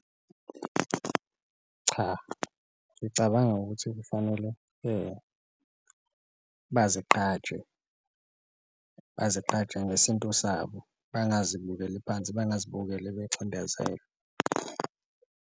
Cha, ngicabanga ukuthi kufanele bazigqaje bazigqaje ngesintu sabo, bangazikubukeli phansi, bangazibukeli becindezelwa.